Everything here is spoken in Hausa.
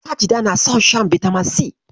Sajida na son shan bitamin si.